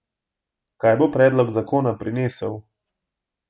Kaj bo predlog zakona prinesel?